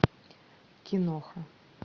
киноха